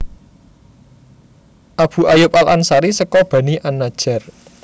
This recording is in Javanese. Abu Ayyub al Ansari seka Bani an Najjar